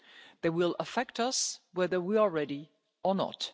ready they will affect us whether we are ready or